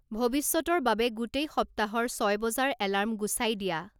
ভৱিষ্যৎৰ বাবে গোটেই সপ্তাহৰ ছয় বজাৰ এলাৰ্ম গুচাই দিয়া